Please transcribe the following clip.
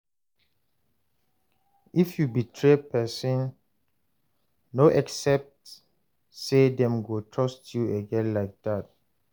If you betray person, no expect say dem go trust you again like that